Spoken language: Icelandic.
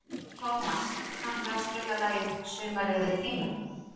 Tómas, kanntu að spila lagið „Sumarið er tíminn“?